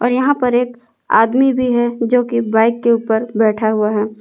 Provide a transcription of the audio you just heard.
यहां पर एक आदमी भी है जो की बाइक के ऊपर बैठा हुआ है।